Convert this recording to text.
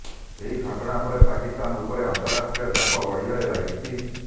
ଏହି ଘଟଣା ପରେ ପାକିସ୍ତାନ ଉପରେ ଅନ୍ତରାଷ୍ଟ୍ରୀୟ ଚାପ ବଢିବାରେ ଲାଗିଛି